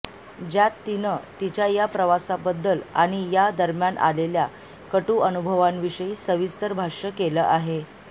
ज्यात तिनं तिच्या या प्रवासाबद्दल आणि या दरम्यान आलेल्या कटू अनुभवांविषयी सविस्तर भाष्य केलं आहे